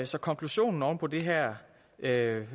så konklusionen oven på det her